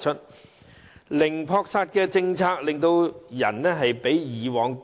由於零撲殺政策出台，飼養者比過往